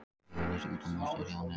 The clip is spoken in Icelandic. Yfirlýsinguna má sjá hér að neðan.